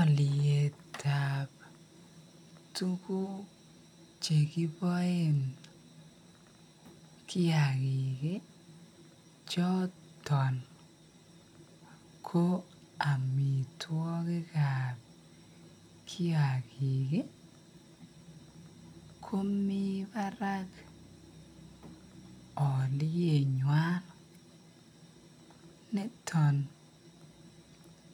Aliet ab tuguk chekiboen kiyakik choton kobamitwakik ab kiyakik komibara alietnywan niton